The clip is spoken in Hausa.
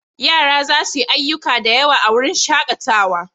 Yara za su yi ayyuka da yawa a wurin shakatawa.